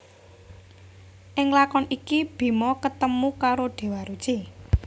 Ing lakon iki Bima ketemu karo Déwa Ruci